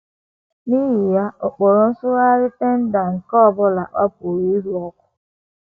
N’ihi ya, ọ kpọrọ nsụgharị Tyndale nke ọ bụla ọ pụrụ ịhụ ọkụ.